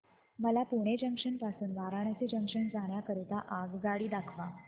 मला पुणे जंक्शन पासून वाराणसी जंक्शन जाण्या करीता आगगाडी दाखवा